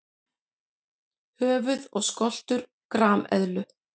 Höfuð og skoltur grameðlu.